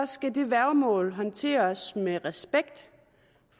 skal det værgemål håndteres med respekt